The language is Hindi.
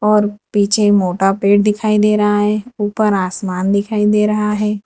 और पीछे मोटा पेड़ दिखाई दे रहा है ऊपर आसमान दिखाई दे रहा है।